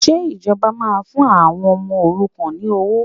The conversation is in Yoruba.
Ṣé ìjọba máa fún àwọn ọmọ òrukàn ní owó?